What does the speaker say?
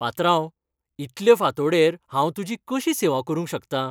पात्रांव, इतलें फांतोडेर हांव तुजी कशी सेवा करूंक शकतां?